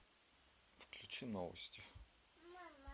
включи новости